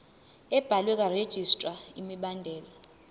ebhaliwe karegistrar imibandela